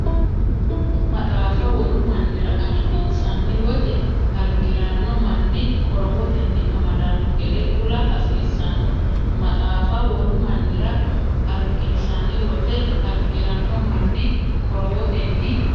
Maxaafa wolu mannira arginsanni wote, argi’ranno manni qorowotenni amadanno gede kula hasiissanno Maxaafa wolu mannira arginsanni wote, argi’ranno manni qorowotenni.